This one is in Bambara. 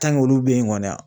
olu be yen kɔni a